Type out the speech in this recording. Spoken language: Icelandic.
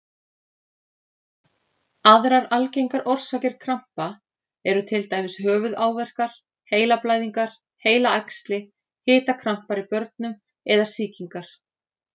Aðrar algengar orsakir krampa eru til dæmis höfuðáverkar, heilablæðingar, heilaæxli, hitakrampar í börnum eða sýkingar.